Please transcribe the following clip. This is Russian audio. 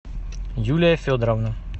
юлия федоровна